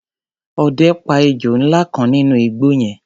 Ọdẹ pa ejò ńlá kan nínú igbó yẹn.